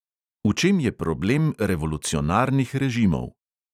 V čem je problem revolucionarnih režimov?